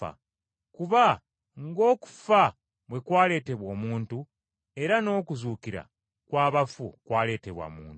Kuba ng’okufa bwe kwaleetebwa omuntu, era n’okuzuukira kw’abafu kwaleetebwa muntu.